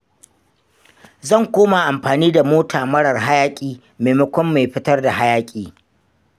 Zan koma amfani da mota marar hayaƙi maimakon mai fitar da hayaƙi.